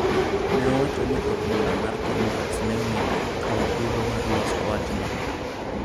Ne owacho ni od bura mar Congress ne onego okaw thuolo mar loso wachno.